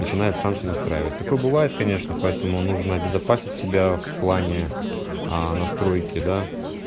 начинает сам себя настраивать такое бывает конечно поэтому нужно обезопасить себя в плане аа настройки да